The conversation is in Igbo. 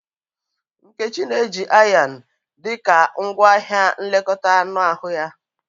.Nkechi na-eji Ayan dị ka ngwaahịa nlekọta anụ ahụ ya.